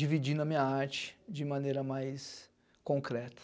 Dividindo a minha arte de maneira mais concreta.